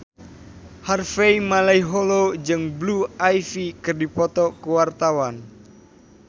Harvey Malaiholo jeung Blue Ivy keur dipoto ku wartawan